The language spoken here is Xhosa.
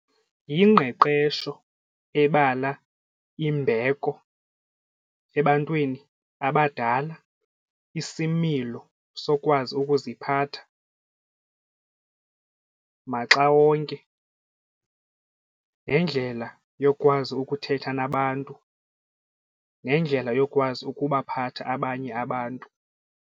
Yingqeqesho ebala imbeko ebantwini abadala, isimilo sokwazi ukuziphatha maxa wonke nendlela yokwazi ukuthetha nabantu nendlela yokwazi ukubaphatha abanye abantu.